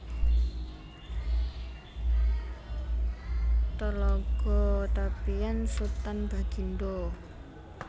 Talago Tapian Sutan Bagindo